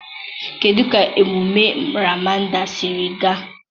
kedụ ka emume Ramadan siri gaa?